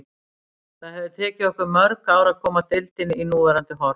Það hefði tekið okkur mörg ár að koma deildinni í núverandi horf.